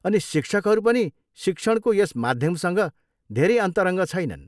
अनि शिक्षकहरू पनि शिक्षणको यस माध्यमसँग धेरै अन्तरङ्ग छैनन्।